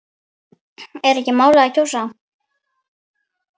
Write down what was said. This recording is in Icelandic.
Er ekki málið að kjósa?